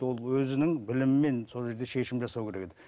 ол өзінің білімімен сол жерде шешім жасау керек еді